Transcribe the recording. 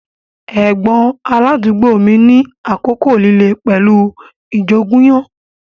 Ẹ̀gbọ́n aládùúgbò mi ní àkókò líle pẹ̀lú ìjoògùnyó